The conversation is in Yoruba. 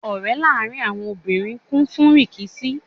Ọ̀rẹ́ láàrín àwọn obìnrin kún fún rìkíṣí.